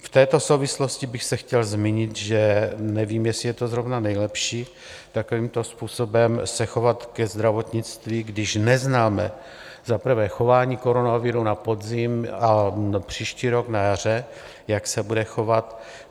V této souvislosti bych se chtěl zmínit, že nevím, jestli je to zrovna nejlepší takovýmto způsobem se chovat ke zdravotnictví, když neznáme za prvé chování koronaviru na podzim a příští rok na jaře, jak se bude chovat.